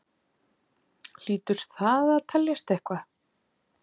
Hlýtur það að telja eitthvað?